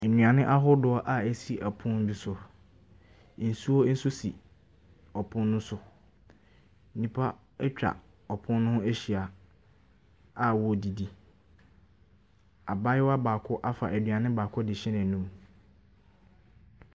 Nnuane ahodoɔ a ɛsi pono bi so, nsuo nso si pono ne so, nnipa atwa ɔpono ne ho ahyia a wɔredidi, abaayewa baako afa aduane baako de rehyɛ n’anum.